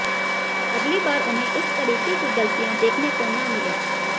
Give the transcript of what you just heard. अगली बार उन्हें इस तरीके की गलतियां देखने को न मिलें